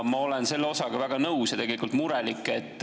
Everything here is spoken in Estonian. Ma olen selle osaga väga nõus ja tegelikult olen murelik.